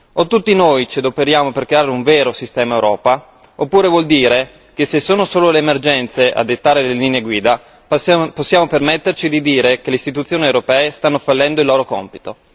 O tutti noi ci adoperiamo per creare un vero sistema Europa, oppure vuol dire che se sono solo le emergenze a dettare le linee guida possiamo permetterci di dire che le Istituzioni europee stanno fallendo il loro compito.